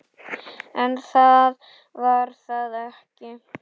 En það var það ekki.